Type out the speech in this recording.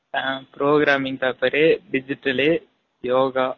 ஆ programming paper , digital yoga அப்டினுலாம் இருக்கும்